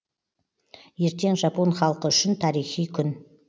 ертең жапон халқы үшін тарихи күн